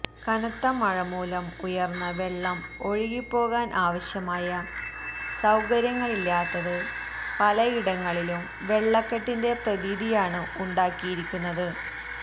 കനത്ത മഴ മൂലം ഉയര്ന്ന വെള്ളം ഒഴുകിപ്പോകാന് ആവശ്യമായ സൌകര്യങ്ങളില്ലാത്തത് പലയിടങ്ങളിലും വെള്ളക്കെട്ടിന്റെ പ്രതീതിയാണു ഉണ്ടാക്കിയിരിക്കുന്നത്